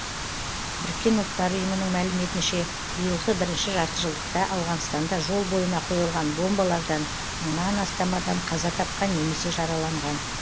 біріккен ұлттар ұйымының мәліметінше биылғы бірінші жартыжылдықта ауғанстанда жол бойына қойылған бомбалардан мыңнан астам адам қаза тапқан немесе жараланған